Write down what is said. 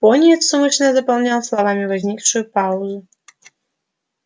пониетс умышленно заполнял словами возникшую паузу